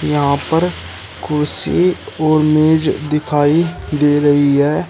यहां पर कुर्सी और मेज दिखाई दे रही है।